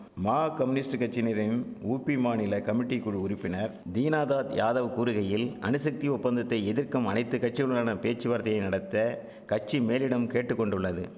மா கமுனிஸ்ட் கட்சினிரின் உபி மாநில கமிட்டிக்குழு உறுப்பினர் தீனாதாத் யாதவ் கூறுகையில் அணுசக்தி ஒப்பந்தத்தை எதிர்க்கும் அனைத்து கட்சியுடனான பேச்சுவார்த்தையை நடத்த கட்சி மேலிடம் கேட்டு கொண்டுள்ளது